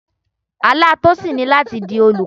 Àlá Tosin ni láti di olùkọ́.